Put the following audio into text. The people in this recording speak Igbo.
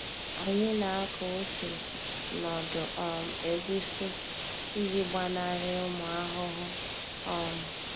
Anyị nako ose nọdụ um egusi iji gbanari ụmụ ahụhụ um